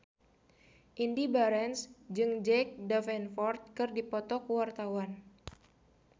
Indy Barens jeung Jack Davenport keur dipoto ku wartawan